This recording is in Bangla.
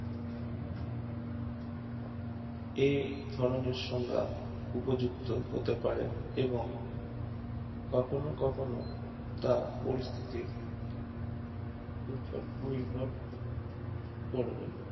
এ ধরণের সংজ্ঞা উপযুক্ত হতে পারে এবং কখনও কখনও তা পরিস্থিতির নির্ভর করবে